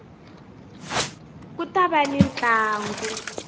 ku ta va ni ntlangu